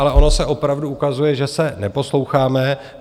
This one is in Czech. Ale ono se opravdu ukazuje, že se neposloucháme.